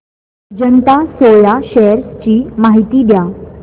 Ajanta Soya shares ची माहिती द्या